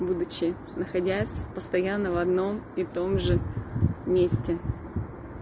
будучи находясь постоянно в одном и том же месте